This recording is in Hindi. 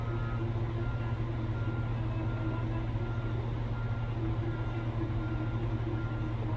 पूरा आगे में सबसे आगे बड़ा पेपर रखे हुए हैं जो की यहाँ पर एक गन भी रखी हुई हैं जिससे फ़ो --